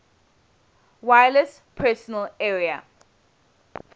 wireless personal area